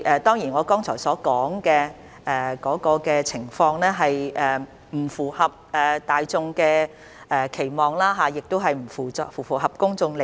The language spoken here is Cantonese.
主席，我剛才提到的情況當然並不符合大眾的期望，亦不符合公眾利益。